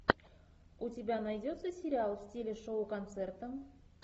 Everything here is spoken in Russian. у тебя найдется сериал в стиле шоу концерта